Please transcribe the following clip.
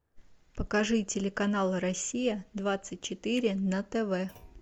покажи телеканал россия двадцать четыре на тв